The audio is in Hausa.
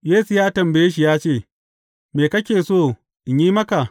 Yesu ya tambaye shi ya ce, Me kake so in yi maka?